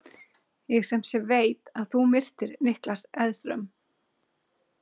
Ég sem sé veit að þú myrtir Niklas Edström.